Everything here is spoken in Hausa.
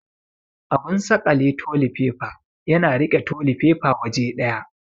Abun saƙale toli faifs yana riƙe toli faifa waje ɗaya.